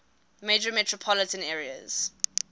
major metropolitan areas